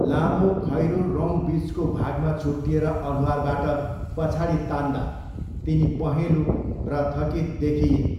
लामो खैरो रौँ बिचको भागमा छुट्टिएर अनुहारबाट पछाडि तान्दा तिनी पहेँलो र थकित देखिइन्।